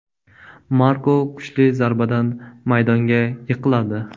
Marko kuchli zarbadan maydonga yiqiladi.